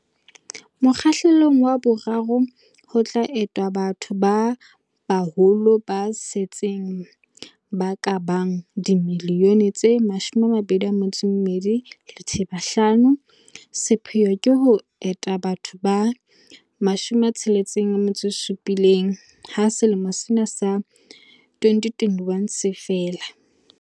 Mokgahlelong wa boraro ho tlo entwa batho ba baholo ba setseng ba ka bang dimiliyone tse 22.5. Sepheo ke ho enta batho ba 67 ha selemo sa 2021 se fela.